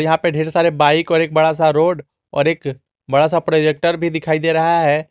यहां पे ढेर सारे बाइक और एक बड़ा सा रोड और एक बड़ा सा प्रोजेक्टर भी दिखाई दे रहा है।